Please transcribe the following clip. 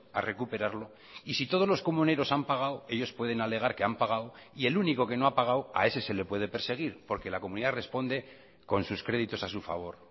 a recuperarlo y si todos los comuneros han pagado ellos pueden alegar que han pagado y el único que no ha pagado a ese se le puede perseguir porque la comunidad responde con sus créditos a su favor